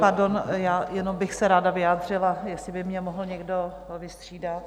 Pardon, já jenom bych se ráda vyjádřila, jestli by mě mohl někdo vystřídat.